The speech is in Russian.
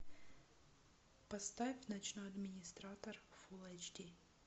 поставь ночной администратор фул эйч ди